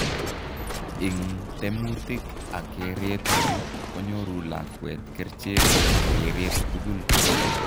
Ing temutik ak kereet chu konyoru lakwet kerchek ak kereet tugul.